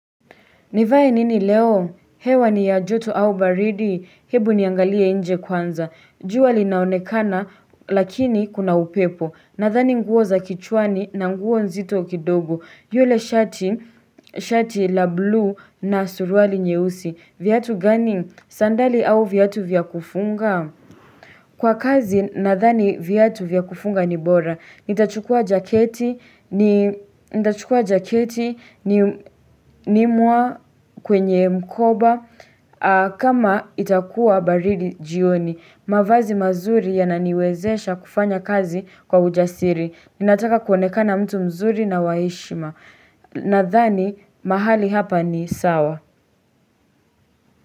Nivae nini leo? Hewa ni ya joto au baridi. Hebu niangalia nje kwanza. Jua linaonekana lakini kuna upepo. Nadhani nguo za kichwani na nguo nzito kidogo. Yule shati la blue na suruali nyeusi. Viatu gani? Sandali au viatu vya kufunga? Kwa kazi, nadhani viatu vya kufunga ni bora. Nitachukua jaketi ni mwa kwenye mkoba kama itakuwa baridi jioni. Mavazi mazuri yananiwezesha kufanya kazi kwa ujasiri. Ninataka kuonekana mtu mzuri na waheshima. Nadhani, mahali hapa ni sawa.